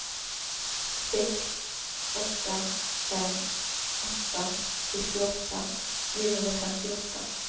sex åtta fem åtta sextioåtta niohundrafemtioåtta